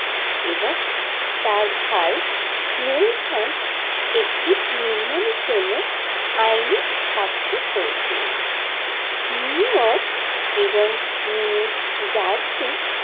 এবং তার ভাই নেলসন একটি নির্মাণের জন্য আইনি সাক্ষর করেছিলেন নিউইয়র্ক এবং নিউজার্সি।